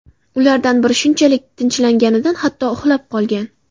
Ulardan biri shunchalik tinchlanganidan hatto uxlab qolgan.